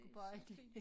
Det så fint